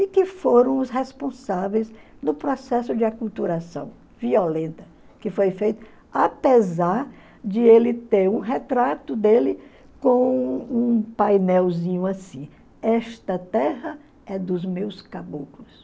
e que foram os responsáveis no processo de aculturação violenta que foi feito apesar de ele ter um retrato dele com um painelzinho assim, esta terra é dos meus caboclos.